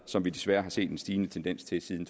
som vi desværre har set en stigende tendens til siden